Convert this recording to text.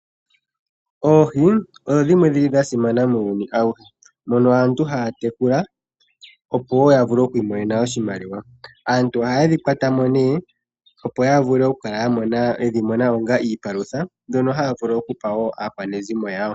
Oohi odho dhimwe dhili dhasimana muuyuni auhe, mono aantu haya tekula opo woo yavule okwiimonena oshimaliwa. Aantu ohaye dhikwatamo nee opo yavule okudhi monamo onga iipalutha mbyono haya vulu woo okupa aakwanezimo yawo.